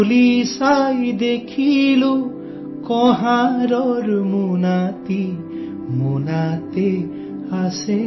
ভাই কুমাৰে এটা মোনা লৈ আহিছে